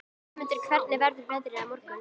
Vémundur, hvernig verður veðrið á morgun?